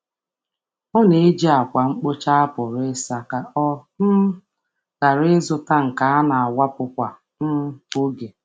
Ọ na-eji ákwà mkpocha a pụrụ ịsa ka ọ ghara ịzụta nke a na-awụpụ kwa oge.